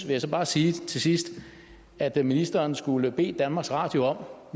jeg så bare sige til sidst at ministeren skulle bede danmarks radio om